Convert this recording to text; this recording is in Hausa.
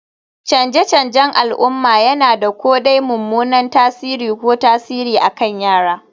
Canje-canjen al'umma yana da ko dai mummunan tasiri ko tasiri akan yara